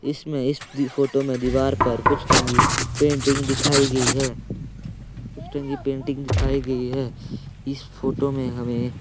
इसमें इस दि फोटो में दीवार पर कुछ टंगी पेंटिंग दिखाई गई है कुछ टंगी पेंटिंग दिखाई गई है इस फोटो में हमें--